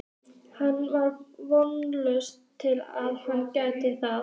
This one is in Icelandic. Hann var að vonast til að hann gæti það ekki.